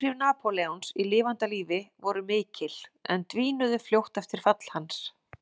Áhrif Napóleons í lifanda lífi voru mikil en dvínuðu fljótt eftir fall hans.